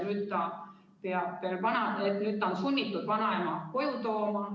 Nüüd ta on sunnitud vanaema koju tooma.